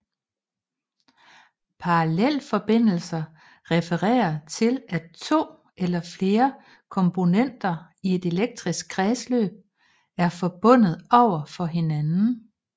Parallelforbindelser refererer til at to eller flere kombonenter i et elektrisk kredsløb er forbundet over for hinanden